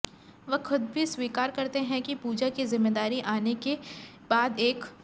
वह खुद भी स्वीकार करते हैं कि पूजा की जिम्मेदारी आने के बाद एक